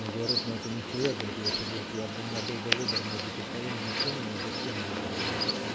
он говорит но это нехуя говорит если говорит я бы у меня был бы выбор между кокаином и феном я бы фен выбрал блять